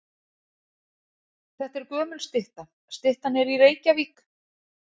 Þetta er gömul stytta. Styttan er í Reykjavík.